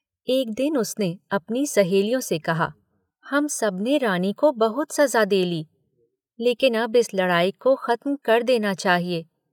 एक दिन उसने अपनी सहेलियों से कहा, हम सब ने रानी को बहुत सज़ा दे ली। लेकिन अब इस लड़ाई को खत्म कर देना चाहिए।